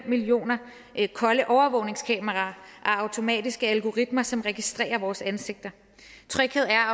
millioner kolde overvågningskameraer og automatiske algoritmer som registrerer vores ansigter tryghed er